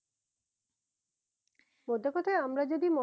মধ্যে কথা আমরা যদি